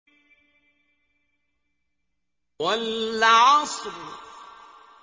وَالْعَصْرِ